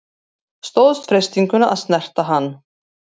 Stóðst freistinguna að snerta hann